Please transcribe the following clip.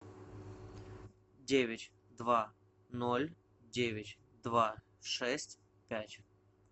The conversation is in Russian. девять два ноль девять два шесть пять